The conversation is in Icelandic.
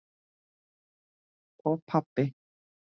Og pabbi!